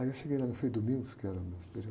Aí eu cheguei lá, no frei que era o meu superior